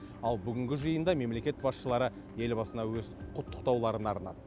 ал бүгінгі жиында мемлекет басшылары елбасына өз құттықтауларын арнады